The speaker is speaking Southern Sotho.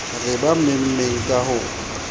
re ba memmeng ka ho